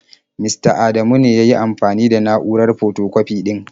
Mista Adamu ne ya yi amfani da na'urar fotokwafi ɗin.